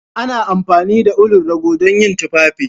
Ana amfani da ulun rago dan yin tufafi.